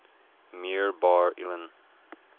meir bar ilan